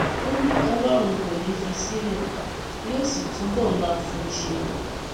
ó ní ọlọrun kò ní í fi í sílẹ yóò sì túbọ máa fún un ṣe